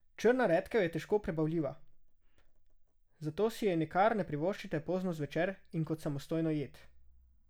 Črna redkev je težko prebavljiva, zato si je nikar ne privoščite pozno zvečer in kot samostojno jed.